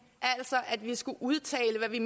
altså at vi skulle udtale hvad vi